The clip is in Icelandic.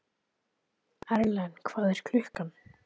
Erlen, hvað er klukkan?